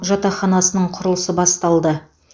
жатақханасының құрылысы басталды